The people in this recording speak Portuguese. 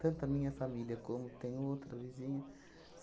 Tanto a minha família como tem o outro vizinho